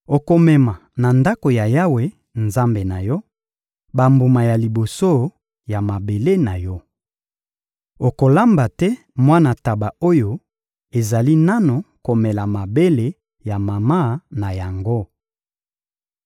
Okomema na Ndako ya Yawe, Nzambe na yo, bambuma ya liboso ya mabele na yo. Okolamba te mwana ntaba oyo ezali nanu komela mabele ya mama na yango.